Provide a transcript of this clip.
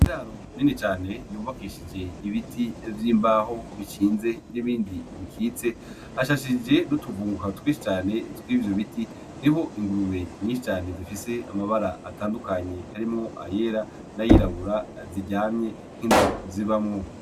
Iraro nini cane yubakishije ibiti vy’imbaho bishinze n’ibindi bikitse, hashashije n’utuvuguka twinshi cane tw’ivyo biti, niho ingurube nyinshi cane zifise amabara atandukanye harimwo ayera na yirabura ziryamye nk’inzu zibamwo.